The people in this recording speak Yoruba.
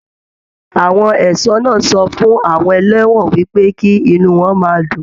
Àwọn ẹṣọ náà sọ fún àwọn ẹlẹwọn wípé kí inú wọn máa dùn.